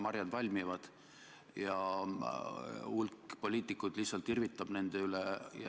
Marjad valmivad ja hulk poliitikuid lihtsalt irvitab nende üle.